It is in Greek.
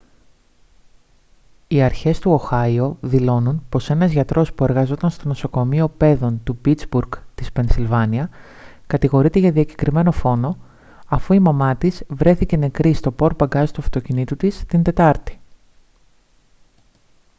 οι αρχές του οχάιο δηλώνουν πώς ένας γιατρός που εργαζόταν στο νοσοκομείο παίδων του πίτσμπουργκ της πενσυλβάνια κατηγορείται για διακεκριμένο φόνο αφού η μαμά της βρέθηκε νεκρή στο πορτμπαγκάζ του αυτοκινήτου της την τετάρτη